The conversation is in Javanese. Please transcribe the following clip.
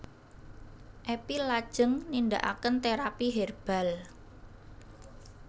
Epi lajeng nindakaken terapy herbal